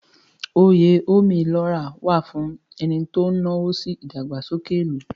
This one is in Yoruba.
Oyè Ome lo ra wà fún ẹni tó náwó sí ìdàgbàsókè ìlú.